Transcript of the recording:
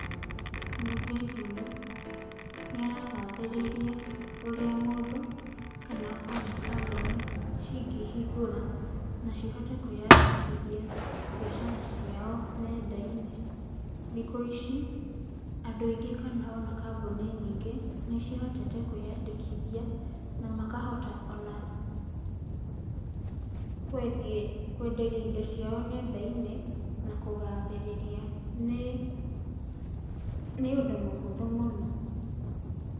Mũirĩtu ũyũ, nĩaragathĩrĩria ũrĩa mũndũ, kana ona kambuni cingĩhingũra, na cihote kwiyandĩkithia biacara ciao nendainĩ. Thikũici, andũ aingĩ kana ona kambuni nyingĩ, nĩcihotete kwiyandĩkithia, na makahota ona kwendia, kwenderia indo ciao nendainĩ, na kũgathĩrĩria. Nĩ, nĩ ũndũ mũhũthu mũno.